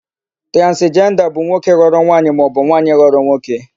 Transijenda by nwoke ghọrọ nwaanyị maọbụ nwaanyị ghọrọ nwoke.